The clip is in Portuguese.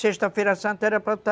Sexta-feira a Santa era para está